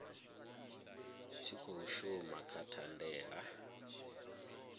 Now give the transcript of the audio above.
tshi khou shuma kha thandela